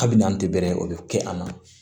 Kabini n'an tɛ bɛrɛ o bɛ kɛ a la